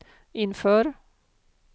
inför